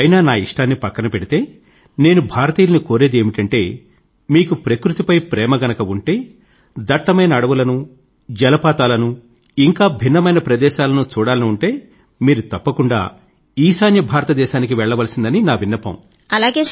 అయినా నా ఇష్టాన్ని పక్కనపెడితే నేను భారతీయులను కోరేది ఏమిటంటే మీకు ప్రకృతి పై ప్రేమ గనుక ఉంటే దట్టమైన అడవులను జలపాతాలను ఇంకా భిన్నమైన ప్రదేశాలను చూడాలని ఉంటే మీరు తప్పకుండా ఈశాన్య భారతదేశానికినార్త్ ఈస్ట్ వెళ్ళవలసిందని నా విన్నపం